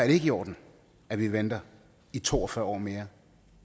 ikke i orden at vi venter i to og fyrre år mere